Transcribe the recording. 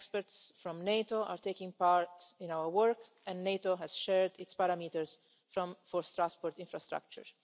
experts from NATO are taking part in our work, and NATO has shared its parameters for transport infrastructure.